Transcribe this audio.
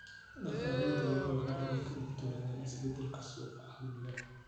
Dhaqanleyda lo'du waa inay ka digtoonaadaan isbeddelka suuqa caalamiga ah.